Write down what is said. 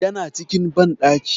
Yana cikin banɗaki.